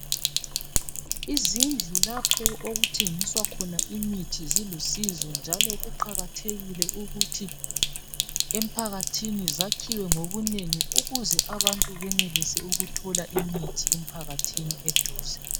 Izindlu lapho okuthengiswa khona imithi zilusizo njalo kuqakathekile ukuthi emphakathini zakhiwe ngobunengi ukuze abantu benelise ukuthola imithi emphakathini eduze.